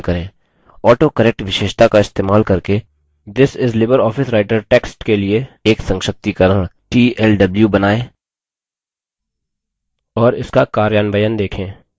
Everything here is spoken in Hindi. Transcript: autocorrect विशेषता का इस्तेमाल करके this is libreoffice writer text के लिए एक संक्षिप्तीकरण tlw बनायें और इसका कार्यान्वयन देखें